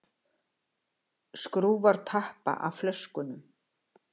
Skrúfar tappana af flöskunum.